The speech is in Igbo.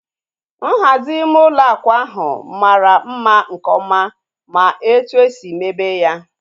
Nhazi ime ụlọ akwa ahu mara mma nke ọma ma etu esi mebe ya